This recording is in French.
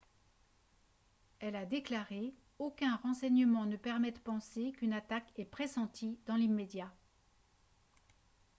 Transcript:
elle a déclaré :« aucun renseignement ne permet de penser qu'une attaque est pressentie dans l’immédiat »